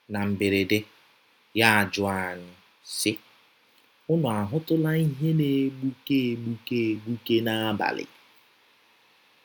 Na mberede, ya ajụọ anyị, sị, “ Ụnụ ahụtụla ìhè na - egbụke egbụke egbụke n’abalị? ”